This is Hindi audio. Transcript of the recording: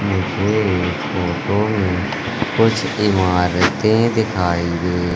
मुझे इस फोटो में कुछ इमारतें दिखाइ दे--